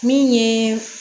Min ye